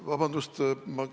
Vabandust!